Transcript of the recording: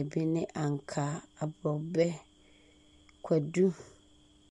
a bi ne ankaa, aborɔbɛ, kwadu.